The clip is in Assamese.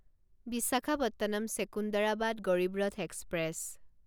বিশাখাপট্টনম ছেকুণ্ডাৰাবাদ গৰিব ৰথ এক্সপ্ৰেছ